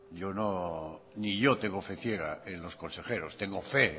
ni yo tengo fe ciega en los consejeros tengo fe en